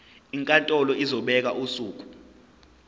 inkantolo izobeka usuku